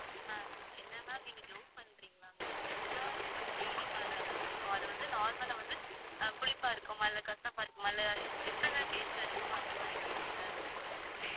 ma'am எல்லா fruits ம் இனிப்பா தான் ma'am இருக்கும். அது வந்து normal ஆ வந்து புளிப்பா இருக்குமா, இல்ல கசப்பா இருக்குமா, இல்ல taste ல இருக்குமா அந்த மாதிரி கேட்டேன் ma'am